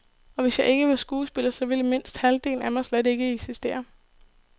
Og hvis jeg ikke var skuespiller, så ville mindst halvdelen af mig slet ikke eksistere.